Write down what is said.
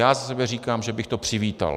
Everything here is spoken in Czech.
Já za sebe říkám, že bych to přivítal.